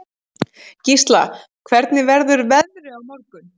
Gísla, hvernig verður veðrið á morgun?